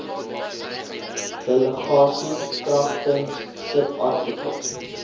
delegasie kragtens subartikel